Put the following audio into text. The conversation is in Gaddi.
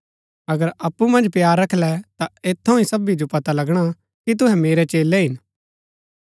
अगर अप्पु मन्ज प्‍यार रखलै ता ऐत थऊँ ही सबी जो पता लगणा की तूहै मेरै चेलै हिन